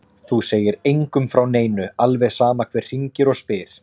Þú segir engum frá neinu, alveg sama hver hringir og spyr.